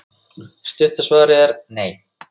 Stutta svarið er: nei.